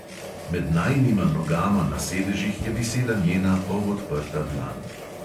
Med najinima nogama na sedežih je visela njena polodprta dlan.